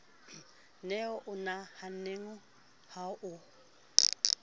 ne o nahanneng ha o